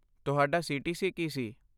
ਤੁਹਾਡਾ ਸੀ.ਟੀ.ਸੀ. ਕੀ ਸੀ?